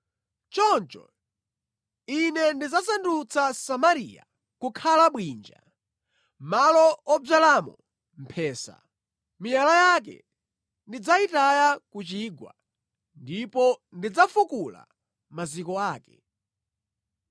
“Choncho Ine ndidzasandutsa Samariya kukhala bwinja, malo odzalamo mphesa. Miyala yake ndidzayitaya ku chigwa ndipo ndidzafukula maziko ake.